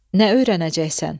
Nə öyrənəcəksən?